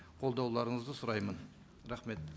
қолдауларыңызды сұраймын рахмет